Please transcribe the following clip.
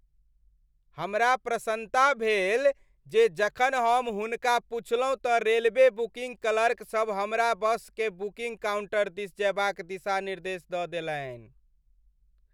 हमरा प्रसन्नता भेल जे जखन हम हुनका पुछलहुँ तँ रेलवे बुकिङ्ग क्लर्कसभ हमरा बसके बुकिङ्ग काउण्टर दिस जयबाक दिशा निर्देश दऽ देलनि।